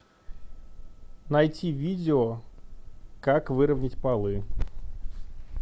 найти видео как выровнять полы